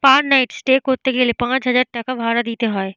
পার night stay করতে গেলে পাঁচ হাজার টাকা ভাড়া দিতে হয়।